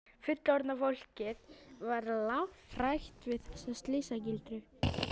Fullorðna fólkið var lafhrætt við þessa slysagildru.